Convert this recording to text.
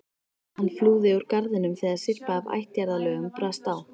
Hann flúði úr garðinum þegar syrpa af ættjarðarlögum brast á.